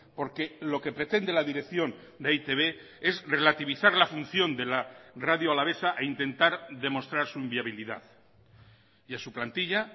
porque lo que pretende la dirección de e i te be es relativizar la función de la radio alavesa e intentar demostrar su inviabilidad y a su plantilla